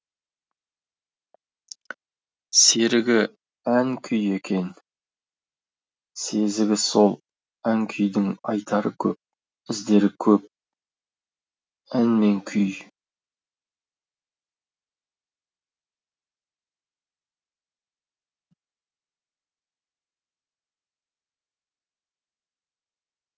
серігі ән күй екен сезігі сол ән күйдің айтары көп іздері көп ән мен күй